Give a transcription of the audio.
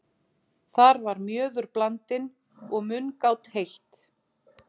Þar var mjöður blandinn og mungát heitt.